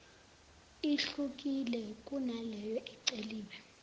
ihlukile kunaleyo eceliwe